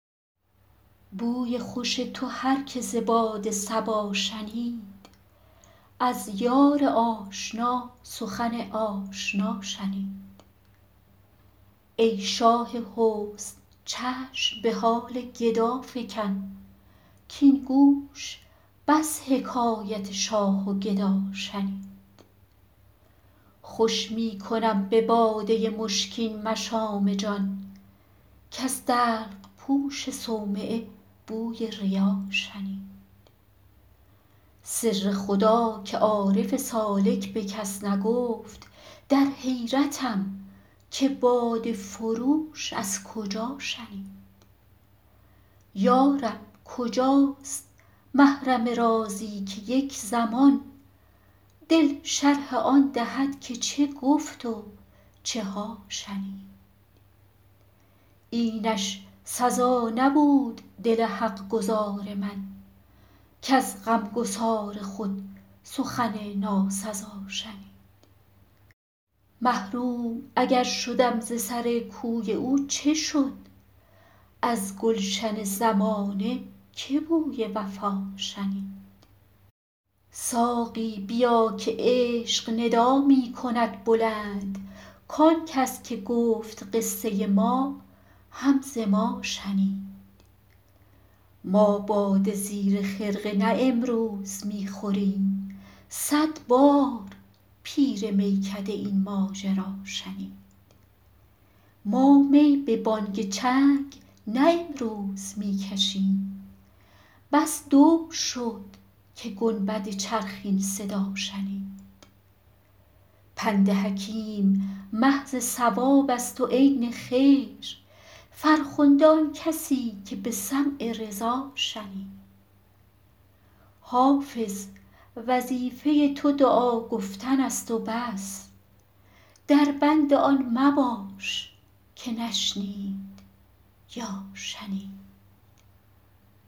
بوی خوش تو هر که ز باد صبا شنید از یار آشنا سخن آشنا شنید ای شاه حسن چشم به حال گدا فکن کـاین گوش بس حکایت شاه و گدا شنید خوش می کنم به باده مشکین مشام جان کز دلق پوش صومعه بوی ریا شنید سر خدا که عارف سالک به کس نگفت در حیرتم که باده فروش از کجا شنید یا رب کجاست محرم رازی که یک زمان دل شرح آن دهد که چه گفت و چه ها شنید اینش سزا نبود دل حق گزار من کز غمگسار خود سخن ناسزا شنید محروم اگر شدم ز سر کوی او چه شد از گلشن زمانه که بوی وفا شنید ساقی بیا که عشق ندا می کند بلند کان کس که گفت قصه ما هم ز ما شنید ما باده زیر خرقه نه امروز می خوریم صد بار پیر میکده این ماجرا شنید ما می به بانگ چنگ نه امروز می کشیم بس دور شد که گنبد چرخ این صدا شنید پند حکیم محض صواب است و عین خیر فرخنده آن کسی که به سمع رضا شنید حافظ وظیفه تو دعا گفتن است و بس در بند آن مباش که نشنید یا شنید